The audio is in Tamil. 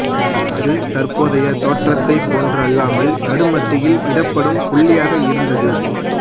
அது தற்போதைய தோற்றத்தைப் போன்று அல்லாமல் நடுமத்தியில் இடப்படும் புள்ளியாக இருந்தது